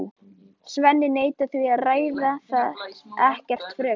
Svenni neitar því og ræðir það ekkert frekar.